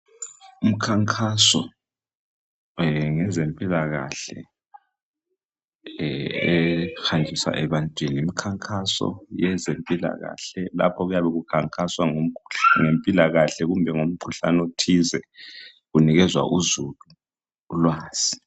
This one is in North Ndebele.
Umkhankaso wezempilakahle ohanjiswa ebantwaneni, umkhankaso wezempilakahle lapho okuyabe kukhankaswa ngempilakahle kumbe ngomkhuhlane othize kunikezwa uzulu ulwazi.